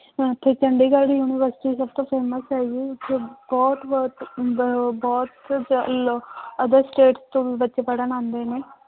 ਇੱਥੇ ਚੰਡੀਗੜ੍ਹ university ਸਭ ਤੋਂ famous ਹੈਗੀ ਹੈ ਇੱਥੇ ਬਹੁਤ ਹੁੰਦਾ ਹੈ ਉਹ ਬਹੁਤ other state ਤੋਂ ਵੀ ਬੱਚੇ ਪੜ੍ਹਨ ਆਉਂਦੇ ਨੇ